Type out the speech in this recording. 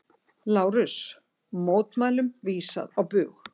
LÁRUS: Mótmælum vísað á bug.